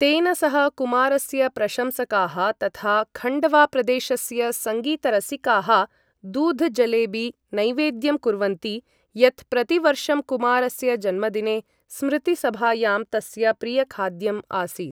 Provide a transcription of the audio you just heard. तेन सह कुमारस्य प्रशंसकाः तथा खण्डवा प्रदेशस्य सङ्गीतरसिकाः 'दूध जलेबी' नैवेद्यं कुर्वन्ति, यत् प्रतिवर्षं कुमारस्य जन्मदिने स्मृतिसभायां तस्य प्रियखाद्यम् आसीत्।